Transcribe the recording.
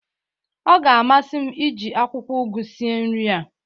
ọ ga-amasị m iji akwụkwọ ụgụ sie nri a